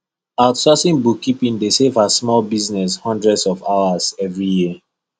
outsourcing bookkeeping dey save her small business hundreds of hours every year